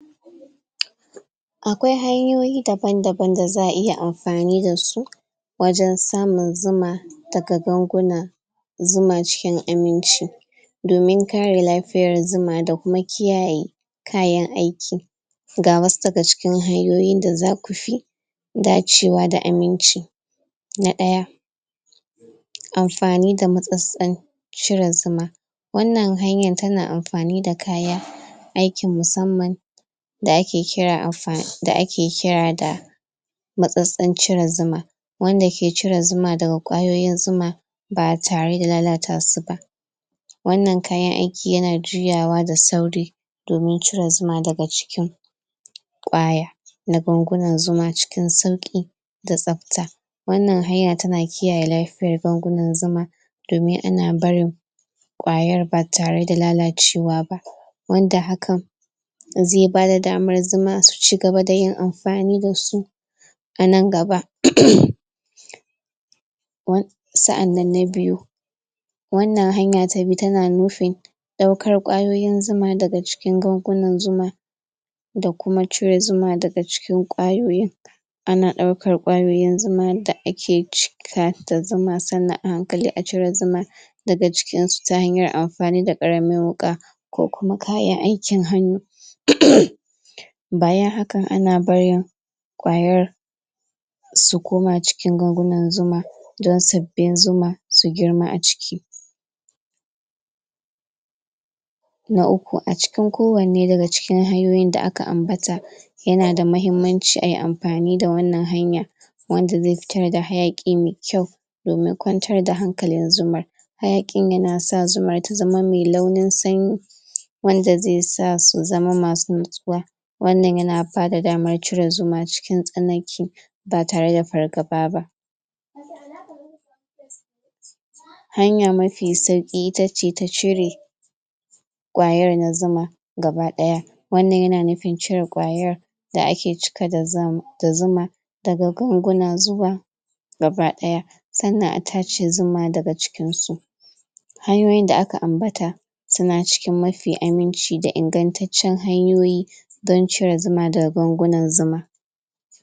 Akwai hanyoyi daban-daban da za'a iya Amfani dasu, Wajen samun zuma Daga gwanguna Zuma cikin aminci Domin gane lafiyar zuma da kuma kiyayye Kayan aiki Ga wasu daga cikin hanyoyin da zaku fi Dacewa da aminci Na daya Amfani da matsatsi Ciwon sugar Wannan hanyan tana amfani da kaya Aiki musamman Da ake kira amfa da ake kira da Matsatsin cire zuma Wanda ke cire zuma daga kwayoyin zuma Ba tare da lalata suba Wannan kayan aiki yana juyawa da sauri Domin cire zuma daga cikin, kwaya Na gwangunan zuma cikin sauki Da tsafta Wannan hanyar tana kiyayye lafiyar gwangunan zuma Domin ana barin Kwayar ba tare da lalacewa bah wanda hakan Zai bada damar zuma su ci gaba dayin amfani dasu Anan gaba Sa'annan na biyu Wannan hanyan ta biyu tana nufin Daukar kwayoyin zuma daga gwangunan zuma Da kuma cire zuma daga kwayoyin Ana daukar kwayoyin zuma da ake cikawa da zuma sannnan a hankali a cire zuman Daga cikin su ta hanyar amfani da karamar wuka Ko kuma kayan aikin hannu Bayan hakan ana barin Kwayar, Su koma cikin gwangunin zumar Don su zama zuma su girma a ciki Na uku a cikin kowane daga hanyoyin da aka ambata Yana da mahimmanci ayi amfani da wannan hanya Wanda zai fitar da hayakin da kwau Domin kwantar da hankalin zumar Hayakin tana sa zuma ta zama nu'nanne Wanda zai'sa su zama masu motsuwa Wannan yana bata damar cire zuma cikin tsanake Ba tare da fargaba ba Hanya mafi sauki itace ta cire, Kwayar na zuma Gaba daya Wannan yana nufin cire kwayar Da ake cikawa da zuma Daga gwangunan zuma Gaba daya Sannan a tache zuma daga cikin su Hanyoyin da aka ambata Suna cikin mafi aminci da ingantaccen hanyoyi Don cire zuma daga gwangunan zuma